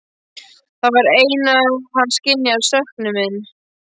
Það var eins og hann skynjaði söknuð minn.